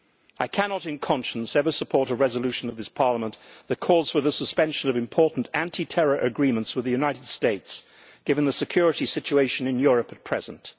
I cannot in conscience ever support a resolution of this Parliament that calls for the suspension of important anti terror agreements with the United States given the security situation in Europe at present.